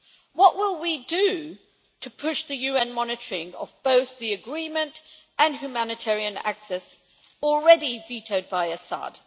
What will we do to push the UN monitoring of both the agreement and humanitarian access already vetoed by Assad?